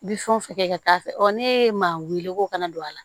Bi fɛn o fɛn kɛ ka taa fɛ ne ye maa weele ko kana don a la